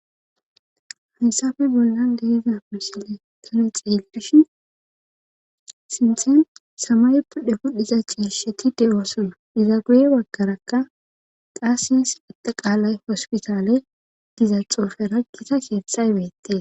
haysafe bollan deeza misile tane xeeydishin sinthen samay pudhe pudhiza ciirsheti de7osona iza guye waggarakka qaassins pita qaalay hospitaale diza xoofe raggita keetxay beette